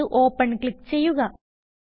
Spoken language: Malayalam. തിരഞ്ഞെടുത്ത്Open ക്ലിക്ക് ചെയ്യുക